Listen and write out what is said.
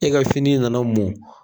E ka fini nana mɔn